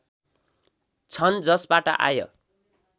छन् जसबाट आय